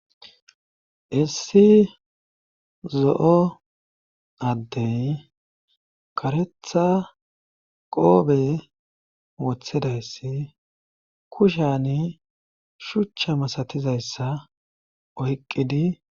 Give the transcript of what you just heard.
Issi zo'o addey karetha qoobe wothedayssi kushani shuchcha masatizayssa oyqqidi